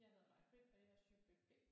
Jeg hedder Maibrit og jeg er subjekt B